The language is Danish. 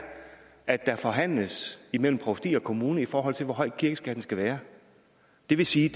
at der forhandles imellem provsti og kommune i forhold til hvor høj kirkeskatten skal være det vil sige